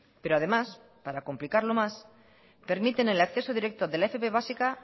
pero además para complicarlo más permiten el acceso directo de la fp básica